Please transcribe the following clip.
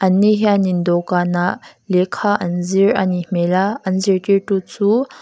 an ni hianin dawhkânah lehkha an zir a nih hmêl a an zirtîrtu chu--